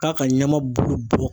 K'a ka ɲama bulu bɔ.